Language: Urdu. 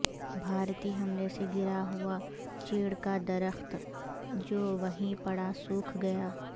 بھارتی حملے سے گرا ہوا چیڑ کا درخت جو وہیں پڑا سوکھ گیا